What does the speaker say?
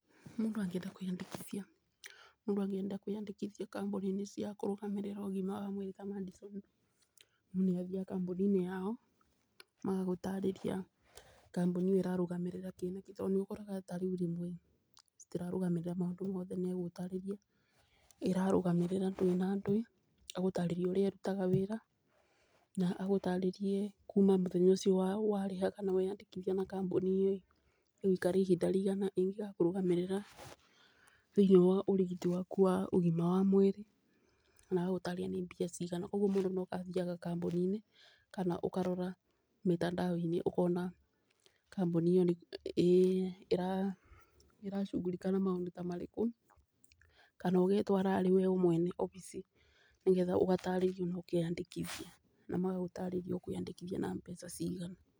Mũndũ angĩenda kwĩyandĩkithia kambuni-inĩ cia kũrũgamĩrĩra ũgima wa mwĩrĩ ta Madison, mũndũ nĩ athiaga kambuni-inĩ yao magagũtarĩria kambuni ĩyo ĩrarũgamĩrĩra kĩ na kĩ. Tondũ rĩmwe nĩ ũkoraga ta rĩu rĩmwe citirarũgamĩrĩra maũndũ mothe, megũgũtarĩria ĩrarũgamĩrĩra ndwĩ na ndwĩ, agũtarĩrie ũrĩa ĩrutaga wĩra. Na agũtarĩrie kuma mũthenya ũcio warĩha kana weyandĩkithia na kambuni ĩyo, ĩgũikatra ihinda rĩigana ĩngĩgakũrũgamĩrĩra thĩiniĩ wa ũrigiti waku wa ũgima mwega wa mwĩrĩ na agagũtarĩria nĩ mbia cigana. Ũguo mũndũ no athiaga kambuni-inĩ kana ũkarora mĩtandao-inĩ ũkona kambuni ĩyo nĩ ĩracugurika na maũndũ ta marĩkũ. Kana ũgetwara wee arĩ mwene obici, nĩgetha ũgatarĩrio ũkeyandĩkithia na magagũtarĩria ũkwĩyandĩkithia na mbeca cigana.